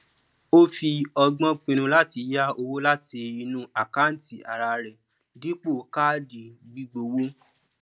ó fi ọgbọn pinnu láti yá owó láti inú àkántì ara rẹ dípò káàdì gbígbówó